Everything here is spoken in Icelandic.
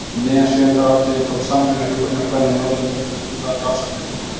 Um miðjan sjöunda áratuginn tók Samvinna hjúkrunarkvenna á Norðurlöndunum upp umræðu um rannsóknir í hjúkrun.